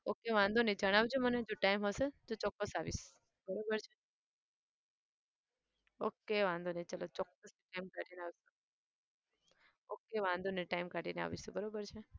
okay વાંધો નહિ જણાવજે મને જો time હશે તો ચોકસ આવીશ. બરોબર છે? okay વાંધો નહિ ચાલો ચોક્કસ time કાઢી ને આવીશ. okay વાંધો નહિ time કાઢી ને આવીશું. બરાબર છે?